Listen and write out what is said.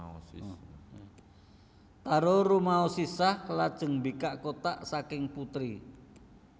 Taro rumaoosh sisah lajeng mbikak kotak saking putri